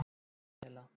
Daníela